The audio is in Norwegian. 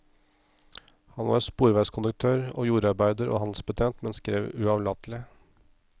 Han var sporvognskonduktør og jordarbeider og handelsbetjent, men skrev uavlatelig.